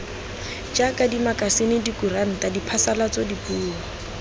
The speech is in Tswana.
jaaka dimakasine dikuranta diphasalatso dipuo